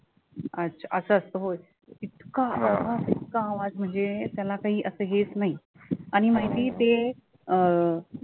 अच्छा असं असतं होय इतका आवाज इतका म्हणजे त्याला काही असं हेच नाही आणि माहितीये ते अं आवा